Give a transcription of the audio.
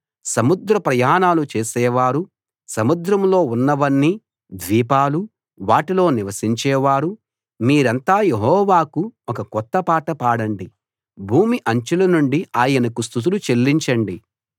సముద్ర ప్రయాణాలు చేసేవారు సముద్రంలో ఉన్నవన్నీ ద్వీపాలూ వాటిలో నివసించేవారు మీరంతా యెహోవాకు ఒక కొత్త పాట పాడండి భూమి అంచుల నుండి ఆయనకు స్తుతులు చెల్లించండి